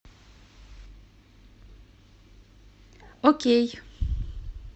окей